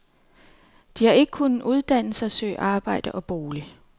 De har ikke kunnet uddanne sig, søge arbejde og bolig.